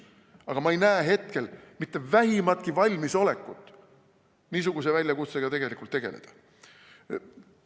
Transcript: Aga ma ei näe hetkel mitte vähimatki valmisolekut niisuguse väljakutsega tegelikult tegeleda.